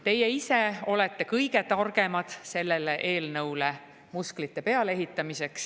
Teie ise olete kõige targemad sellele eelnõule muskleid peale ehitama.